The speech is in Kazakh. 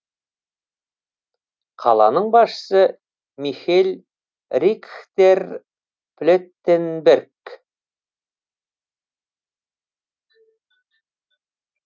қаланың басшысы михель рихтер плеттенберг